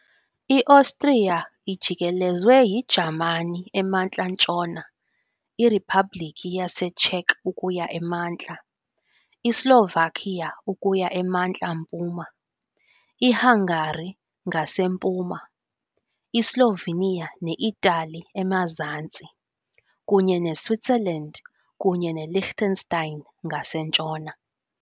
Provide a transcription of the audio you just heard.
IOstriya ijikelezwe yiJamani emantla-ntshona, iRiphabliki yaseCzech ukuya emantla, iSlovakia ukuya emantla-mpuma, iHungary ngasempuma, iSlovenia ne- Itali emazantsi, kunye neSwitzerland kunye neLiechtenstein ngasentshona.